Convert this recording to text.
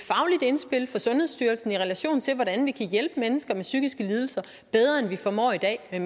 indspil fra sundhedsstyrelsen i relation til hvordan vi kan hjælpe mennesker med psykiske lidelser bedre end vi formår i dag med